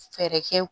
Fɛɛrɛ kɛ